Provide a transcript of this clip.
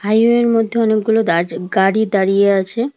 হাইওয়ের মধ্যে অনেকগুলো দার গাড়ি দাঁড়িয়ে আছে।